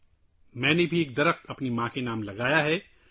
میں نے اپنی ماں کے نام پر ایک درخت بھی لگایا ہے